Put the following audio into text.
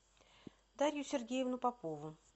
дарью сергеевну попову